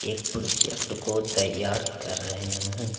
एक प्रोजेक्ट को तैयार कर रहे हैं।